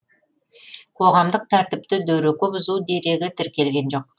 қоғамдық тәртіпті дөрекі бұзу дерегі тіркелген жоқ